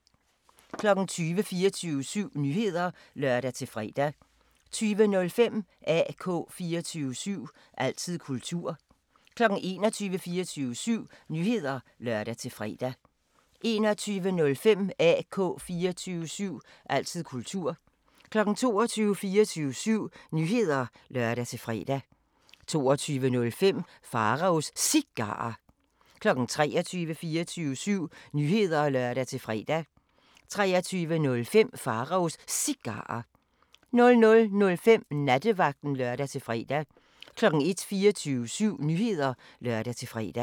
20:00: 24syv Nyheder (lør-fre) 20:05: AK 24syv – altid kultur 21:00: 24syv Nyheder (lør-fre) 21:05: AK 24syv – altid kultur 22:00: 24syv Nyheder (lør-fre) 22:05: Pharaos Cigarer 23:00: 24syv Nyheder (lør-fre) 23:05: Pharaos Cigarer 00:05: Nattevagten (lør-fre) 01:00: 24syv Nyheder (lør-fre)